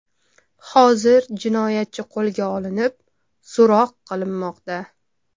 Hozir jinoyatchi qo‘lga olinib, so‘roq qilinmoqda.